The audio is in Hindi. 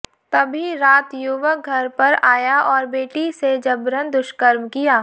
तभी रात युवक घर पर आया और बेटी से जबरन दुष्कर्म किया